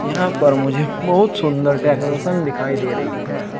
यहां पर मुझे बहुत सुंदर डेकोरेशन दिखाई दे रही है।